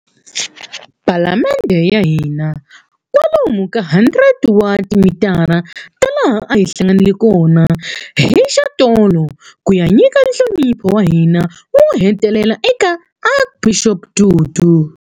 Palamende ya hina, kwalomu ka 100 wa timitara ta laha a hi hlanganile kona hi xatolo ku ya nyika nhlonipho wa hina wo hetelela eka Archbishop Tutu.